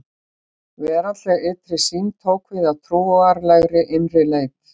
Veraldleg ytri sýn tók við af trúarlegri innri leit.